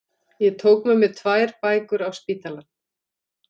Ég tók með mér tvær bækur á spítalann